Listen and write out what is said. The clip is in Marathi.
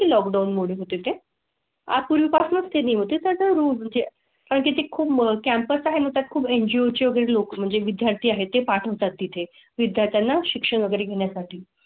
लॉकडाउन मध्ये होते ते हापूर पासून ते निम ती त्याच्या रूम जे आहे ते खूप कॅम्पस कॅम्पस आहे. त्यात खूप एनजीओ एनजीओ ची वगैरे लोक म्हणजे विद्यार्थी आहे ते पाठवतात. तिथे विद्यार्थ्यांना शिक्षण वगैरे घेण्या साठी.